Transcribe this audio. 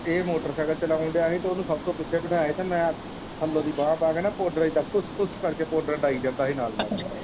ਇਹ ਮੋਟਰਸਾਇਕਲ ਚਲਾਉਣ ਦਿਆ ਹੀ ਤੇ ਇਹਨੂੰ ਸਭ ਤੋਂ ਪਿੱਛੇ ਬਿਠਾ ਕੇ ਤੇ ਮੈਂ ਥੱਲੋਂ ਦੀ ਬਾਂਹ ਪਾ ਕੇ ਪਾਉਡਰ ਇਦਾਂ ਪੁਸ ਪੁਸ ਕਰਕੇ ਪਾਉਡਰ ਪਾਈ ਜਾਂਦਾ ਹੀ ਨਾਲ ਹੀ ਨਾਲ।